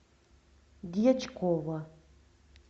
дьячкова